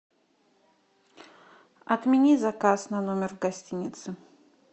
отмени заказ на номер в гостинице